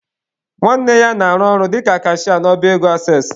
Nwanne ya na-arụ ọrụ dịka kashịa n'ọba ego ases.